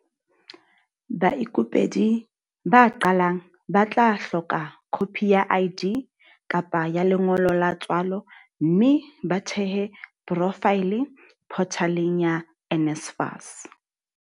Baikopedi ba qalang ba tla hloka khopi ya ID kapa ya lengolo la tswalo mme ba thehe porofaele photaleng ya NSFAS.